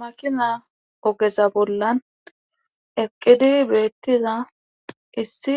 makina ogeza bollan eqqidi beettiza issi